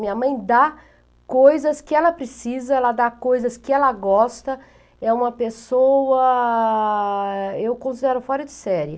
Minha mãe dá coisas que ela precisa, ela dá coisas que ela gosta, é uma pessoa... eu considero fora de série.